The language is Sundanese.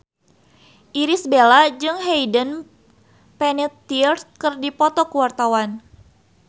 Irish Bella jeung Hayden Panettiere keur dipoto ku wartawan